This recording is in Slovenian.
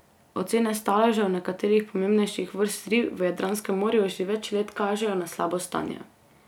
Ocene staležev nekaterih pomembnejših vrst rib v Jadranskem morju že več let kažejo na slabo stanje.